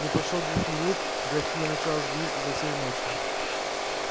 не прошло двух минут графиня начала звонить изо всей мочи